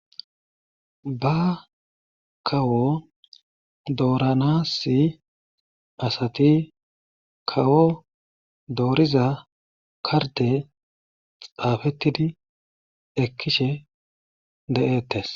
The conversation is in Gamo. Ba kawo dooranas asati kawo dooriza karde xaafetidi ekishe de'etees.